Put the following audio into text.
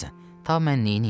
Ta mən neyniyim?